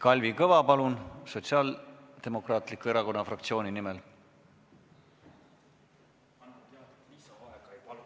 Kalvi Kõva, palun, Sotsiaaldemokraatliku Erakonna fraktsiooni nimel!